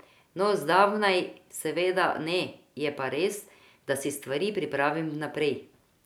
No, zdavnaj seveda ne, je pa res, da si stvari pripravim vnaprej.